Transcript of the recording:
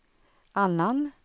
annan